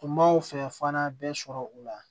Tun b'o fɛ fana bɛɛ sɔrɔ o la